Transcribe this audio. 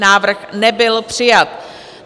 Návrh nebyl přijat.